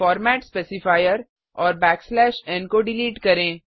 format specifier और backslash n को delete करें